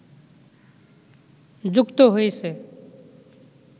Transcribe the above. যুক্ত হয়েছে